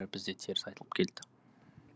бізде теріс айтылып келді